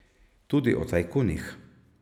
Tudi o tajkunih.